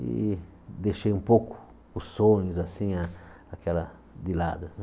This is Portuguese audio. e deixei um pouco os sonhos assim a aquela de lado né.